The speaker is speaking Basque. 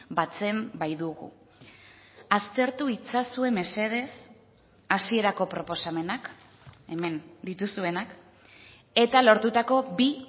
batzen baitugu aztertu itzazue mesedez hasierako proposamenak hemen dituzuenak eta lortutako bi